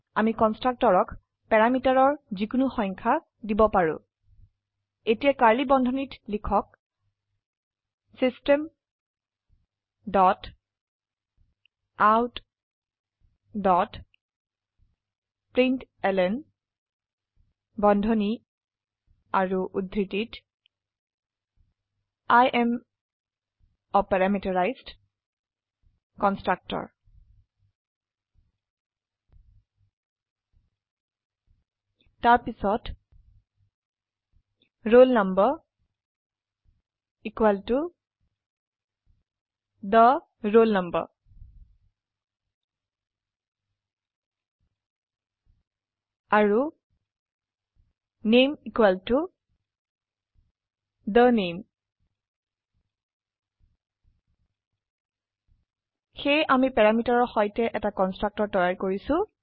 আমিকন্সট্ৰকটৰকযিকোনো সংখ্যা প্যাৰামিটাৰদিব পাৰো এতিয়াকাৰ্ড়লী বন্ধনীত লিখক system dot out dot println বন্ধনী আৰু উদ্ধৃতিত I am a parameterized constructor তাৰপিছত roll number the roll number আৰু নামে the name সেয়েআমিপ্যাৰামিটাৰৰ সৈতে এটা কন্সট্ৰকটৰ তৈয়াৰ কৰিছো